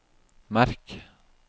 merk